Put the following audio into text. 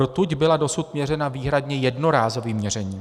Rtuť byla dosud měřena výhradně jednorázovým měřením.